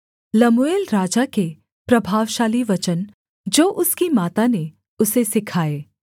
Lemuel राजा के प्रभावशाली वचन जो उसकी माता ने उसे सिखाए